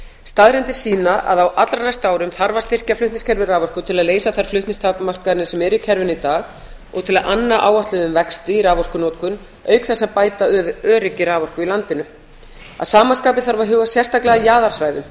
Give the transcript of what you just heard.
staðreyndir sýna að á allra næstu árum þarf að styrkja flutningskerfi raforku til að leysa þær flutningstakmarkanir sem eru í kerfinu í dag og til að anna áætluðum vexti í raforkunotkun auk þess að bæta öryggi raforku í landinu að sama skapi þarf að huga sérstaklega að jaðarsvæðum